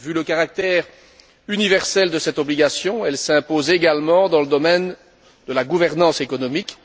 Vu le caractère universel de cette obligation, elle s'impose également dans le domaine de la gouvernance économique.